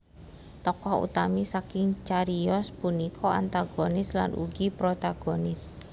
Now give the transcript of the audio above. Tokoh utami saking cariyos punika antagonis lan ugi protagonis